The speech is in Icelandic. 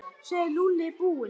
Sjáðu, Lúlli er brúnn.